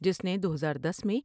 جس نے دو ہزار دس میں ۔